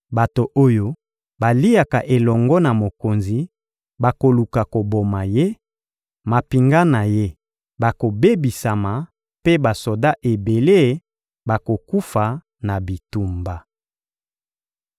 Bato oyo baliaka elongo na mokonzi bakoluka koboma ye, mampinga na ye bakobebisama mpe basoda ebele bakokufa na bitumba.